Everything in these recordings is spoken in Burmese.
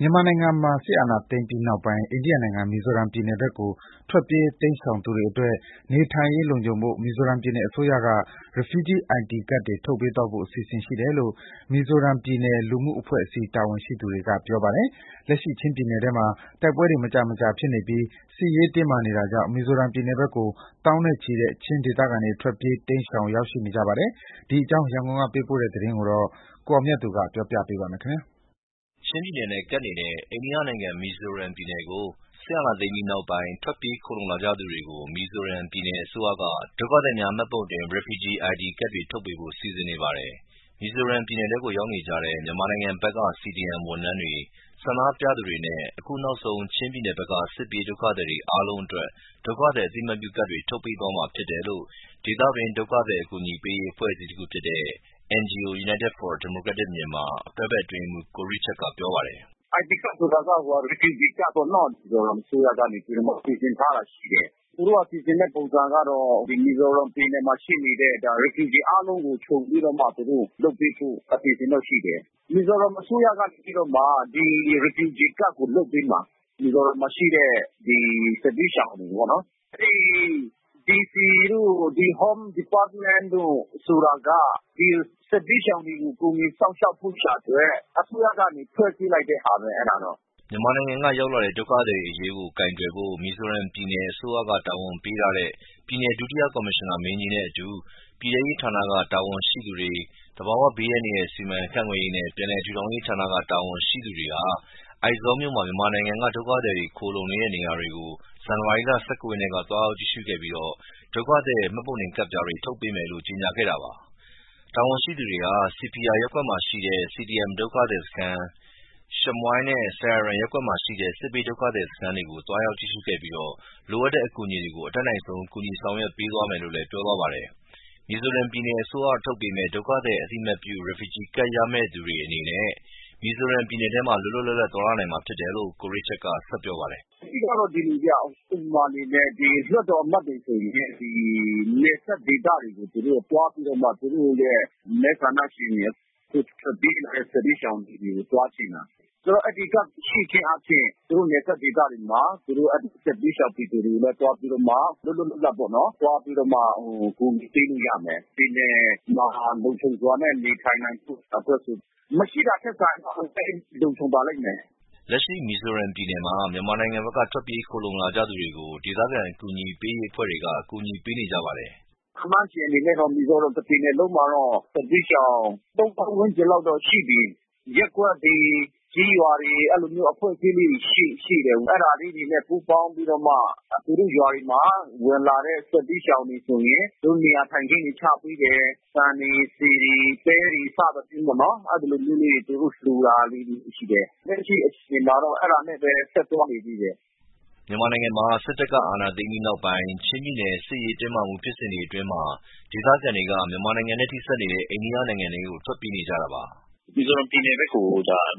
မြန်မာနိုင်ငံမှာ စစ်အာဏာသိမ်းပြီးနောက်ပိုင်း အိန္ဒိယနိုင်ငံ မီဇိုရမ်ပြည်နယ်ကို ထွက်ပြေးတိမ်းရှောင်သူတွေအတွက် နေထိုင်ရေးလုံခြုံဖို့ မီဇိုရမ်ပြည်နယ်အစိုးရကနေ Refugee ID ကဒ် ထုတ်ပေးသွားဖို့ အစီစဉ်ရှိတယ်လို့ မီဇိုရမ်ပြည်နယ် လူမှုအဖွဲ့အစည်းတာဝန်ရှိသူတွေကပြောပါတယ်။ လက်ရှိ ချင်းပြည်နယ်ထဲမှာ တိုက်ပွဲတွေ မကြာမကြာဖြစ်နေပြီး စစ်ရေးတင်းမာနေတာကြောင့် မီဇိုရမ်ပြည်နယ်ဘက်ကို သောင်းနဲ့ချီတဲ့ ချင်းဒေသခံတွေ ထွက်ပြေးတိမ်းရှောင် ရောက်ရှိနေ ပါတယ်။ ဒီအကြောင်းရန်ကုန်ကပေးပို့လာတဲ့သတင်းကို ကိုအောင်မြတ်သူ ကပြောပြပေးမှာပါ။ ချင်းပြည်နယ်နဲ့ကပ်နေတဲ့ အိန္ဒိယနိုင်ငံ မီဇိုရမ်ပြည်နယ်ကို စစ်အာဏာသိမ်းပြီးနောက်ပိုင်း ထွက်ပြေးခိုလှုံကြသူတွေကို မီဇိုရမ်ပြည်နယ်အစိုးရက ဒုက္ခသည်များမှတ်ပုံတင် Refugee ID ကဒ် ထုတ်ပေးဖို့ စီစဉ်နေပါတယ်။ မီဇိုရမ်ပြည်နယ်ထဲရောက်နေကြတဲ့ မြန်မာနိုင်ငံဘက်က CDM ဝန်ထမ်းတွေ၊ ဆန္ဒပြသူတွေနဲ့ အခုနောက်ဆုံး ချင်းပြည်နယ်ဘက်က စစ်ပြေးဒုက္ခသည်တွေအားလုံးအတွက် ဒုက္ခသည်အသိအမှတ်ပြုကဒ်ထုတ်ပေးမှာဖြစ်တယ်လို့ ဒေသတွင်း ဒုက္ခသည်ကူညီရေးအဖွဲ့ အစည်းတခုဖြစ်တဲ့ NGO United for Democratic Myanmar တွဲဖက်အတွင်းရေးမှူး ကိုရစ်ချတ်ကပြောပါတယ်။ “ ID ကဒ်ဆိုတာက Refugee ကဒ်ပေါ့နော်။ မီဇိုရမ်ပြည်နယ်အစိုးရကနေပြီးတော့ စီစဉ်ထားတာရှိတယ်။ သူတို့က စီစဉ်ထားတဲ့ပုံစံကတော့ ဒီမီဇိုရမ်ပြည်နယ်မှာရှိနေတဲ့ Refugee အားလုံးကိုခြုံပြီးမှ သူတို့လုပ်ပေးဖို့ အစီအစဉ်တော့ ရှိတယ်။ မီဇိုရမ်အစိုးရက ဒီRefugeeကဒ်ကိုလုပ်ပေးမှာ။ ဒီမီဇိုရမ်မှာရှိတဲ့ စစ်ဘေးရှောင်တွေကိုပေါ့နော်။ အဲဒီ DC တို့, Home department တို့ ဆိုတာက ဒီစစ်ဘေးရှောင်တွေကို ကူညီစောင့်ရှောက်ဖို့ရန်အတွက် အစိုးရကနေ ဖွဲ့စည်းပေး လိုက်တာဘဲ အဲတာတော့။ ” မြန်မာနိုင်ငံက ရောက်လာတဲ့ ဒုက္ခသည်တွေအရေးကို ကိုင်တွယ်ဖို့ မီဇိုရမ်ပြည်နယ်အစိုးရကတာဝန်ပေးထားတဲ့ ပြည်နယ်ဒုတိယကော်မရှင်နာမင်းကြီးနဲ့အတူ ပြည်ထဲရေးဌာနတာဝန်ရှိသူတွေ၊ သဘာဝဘေးအန္တရာယ် စီမံခန့်ခွဲရေးနဲ့ ပြန်လည်ထူထောင်ရောဌာက တာဝန်ရှိသူတွေ အိုက်ဇောမြို့မှာ မြန်မာနိုင်ငံက ဒုက္ခသည်တွေ ခိုလှုံနေတဲ့ နေရာတွေကို ဇန်နဝါရီလ ၁၉ ရက်က သွားရောက်ကြည့်ရှုခဲ့ပြီး ဒုက္ခသည် မှတ်ပုံတင်ကဒ်ပြားတွေ ထုတ်ပေးမယ်လို့ ကြေညာခဲ့တာပါ။ တာဝန်ရှိသူတွေဟာ Sihphir ရပ်ကွက်မှာရှိတဲ့ CDM ဒုက္ခသည်စခန်း၊ Sihhmui နဲ့ Sairang ရပ်ကွက်မှာရှိတဲ့ စစ်ဘေးဒုက္ခသည်စခန်းတွေကို သွားရောက်ကြည့်ရှုခဲ့ပြီး လိုအပ်တဲ့အကူအညီတွေ အတတ် နိုင်ဆုံးကူညီဆောင်ရွက်ပေးသွားမယ်လို့လည်း ပြောသွားပါတယ်။ မီဇိုရမ်ပြည်နယ်အစိုးရက ထုတ်ပေးမယ့် ဒုက္ခသည်အသိအမှတ်ပြု Refugee ID ကဒ်ရမယ့်သူတွေအနေနဲ့ မီဇိုရ်ပပြည်နယ်ထဲမှာ လွတ်လါွတ်လပ်လပ် သွားလာနိုင်မှာဖြစ်တယ်လို့ ကိုရစ်ချတ်က ဆက်ပြောပါတယ်။ “ အဓိကတော့ ဒီလိုဗျ။ ဥပမာအနေနဲ့လွှတ်တော်အမတ်တွေဆိုရင် နယ်စပ်ဒေသတွေကို သူတို့သွားပြီးတော့မှ သူတို့ ရဲ့ မဲဆန္ဒရှင်တွေ အခုထွက်ပြေးကြတဲ့စစ်ဘေးရှောင်တွေကို သွားကြည့်တာ။ ဆိုတော့ အဲဒီကဒ်ရှိခြင်းအားဖြင့် သူတို့ နယ်စပ်ဒေသတွေမှာ သူတို့အဲဒီစစ်ဘေးရှောင်ပြည်သူတွေနဲ့သွားပြီးတော့မှ လွတ်လွတ်လပ်လပ်ပေါ့နော် သွားပြီးတော့ မှ အကူညီပေးလို့ရမယ်။ ပြည်နယ်မှာ လုံခြုံစွာနဲ့နေထိုင်နိုင်ဖို့ အတွက်ကို။ မရှိတာထက်စာရင် အများကြီးလုံခြုံပါ လိမ့် မယ်။ ” လက်ရှိမီဇိုရမ်ပြည်နယ်မှာ မြန်မာနိုင်ငံဘက်က ထွက်ပြေးခိုလှုံနေကြသူတွေကို ဒေသခံ ကူညီပေးအဖွဲ့တွေက အကူညီပေးနေကြပါတယ်။ “ ခန့်မှန်းခြေအနေနဲ့တော့မီဇိုရမ်တပြည်နယ်လုံးမှာတော့ သုံးသောင်းဝန်းကျင်လောက်တော့ ရှိပြီး။ ရပ်ကွက်တွေ ကျေးရွာတွေ အဲဒီလိုအဖွဲ့အစည်းလေးတွေရှိတယ်။ အဲတာလေးတွေဘဲပူးပေါင်းပြီးမှ သူတို့ရွာတွေမှာ ဝင်လာတဲ့ စစ် ဘေးရှောင်တွေဆိုရင် သူတို့ နေရာထိုင်ခင်းတွေချပေးတယ်။ ဆန်တွေ ဆီတွေ ပဲတွေ စသည်ဖြင့်ပေါ့နော် အဲဒီလိုမျိုး လေးတွေသူတို့လှူတာတွေ ရှိတယ်။ လက်ရှီအခြေအနေမှာတော့အဲတာနဲ့ဘဲ ဆက်သွားနေတယ်။ ” မြန်မာနိုင်ငံမှာ စစ်တပ်ကအာဏာသိမ်းပြီးနောက်ပိုင်းနဲ့ ချင်းပြည်နယ်စစ်ရေးတင်းမာမှုဖြစ်စဉ်အတွင်း ဒေသခံတွေက မြန်မာနိုင်ငံနဲ့ ထိဆက်နေတဲ့ အိန္ဒိယနိုင်ငံထဲကို ထွက်ပြေးခဲ့ကြတာပါ။ “ မီဇိုရမ်ပြည်နယ်ဘက်ကို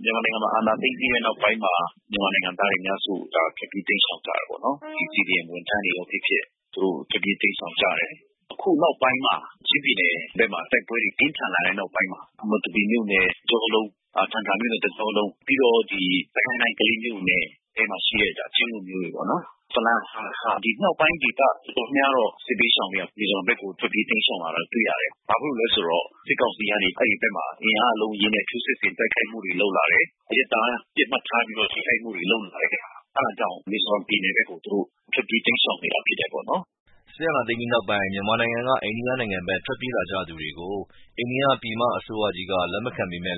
မြန်မာနိုင်ငံမှာအာဏာသိမ်းပြီးတဲ့နောက်ပိုင်းမှာ မြန်မာနိုင်ငံသားတွေအများစု ထွက်ပြေး တိမ်းရှောင်ကြတာပေါ့နော်။ ဒီ CDMဝန်ထန်းတွေဘဲဖြစ်ဖြစ် သူတို့ထွက်ပြေးတိမ်းရှောင်ကြတယ်။ အခုနောက်ပိုင်းမှာ ချင်းပြည်နယ်ဘက်မှာ တိုက်ပွဲတွေပြင်းထန်လာတဲ့နောက်ပိုင်းမှာ မတူပီမြို့နယ်တကြောလုံး ထန်တလန်မြို့နယ်တကြော လုံး ပြီးတော့ စစ်ကိုင်းတိုင်းကလေးမြို့နယ် ထဲမှာရှိတဲ့ချင်းလူမျိုးတွေပေါ့နော်။ ဖလမ်း ဟားခါး ဒီမြောက်ပိုင်းဒေသ တော် တော်များများတော့ စစ်ဘေးရှောင်နေရ မီဇိုရမ်ဘက်ကို ထွက်ပြေးတိမ်းရှောင်နေရတာကိုတွေ့ရတယ်။ ဘာဖြစ်လို့လဲဆို တော့ စစ်ကောင်စီကအဲဒီဘက်မှာ အင်အားအလုံးအရင်းနဲ့ထိုးစစ်ဆင် တိုက်ခိုက်မှုတွေလုပ်လာတယ်။ အရပ်သား ပစ်မှတ် ထားပြီးတော့ ထိခိုက်မှုတွေလုပ်လာတဲ့ဟာ အဲတာကြောင့်မီဇိုရမ်ပြည်နယ်ဘက်ကို သူတို့ ထွက်ပြေးတိမ်းရှောင် ခဲ့တာဖြစ်တာပေါ့နော်။ ” မြန်မာနိုင်ငံမှာ စစ်အာဏာသိမ်းပြီးနောက် အိန္ဒိယနိုင်ငံဘက် ထွက်ပြေးလာကြသူတွေကို အိန္ဒိယပြည်မကြီးအစိုးရက လက်မခံပေမဲ့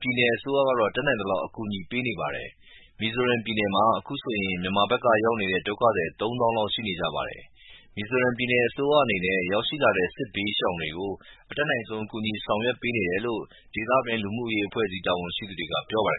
ပြည်နယ်အစိုးရတွေကတော့ တတ်နိုင်သလောက်အကူအညီပေးနေကြပါတယ်။ မီဇိုရမ်ပြည်နယ်မှာ အခုဆိုရင် မြန်မာဘက်က ရောက်နေတဲ့ ဒုက္ခသည် ၃ သောင်းလောက်ရှိနေကြပါတယ်။ မီဇိုရမ်ပြည်နယ်အစိုးရအနေနဲ့ ရောက် ရှိလာတဲ့ စစ်ဘေးရှောင်တွေကို အတတ်နိုင်ဆုံးကူညီဆောင်ရွက်ပေးနေတယ်လို့ ဒေသတွင်းလူမှုအဖွဲ့အစည်း တာဝန်ရှိသူတွေကပြောပါတယ